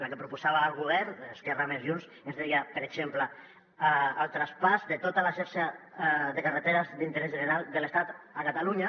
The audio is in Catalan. la que proposava el govern esquerra més junts ens deia per exemple el traspàs de tota la xarxa de carreteres d’interès general de l’estat a catalunya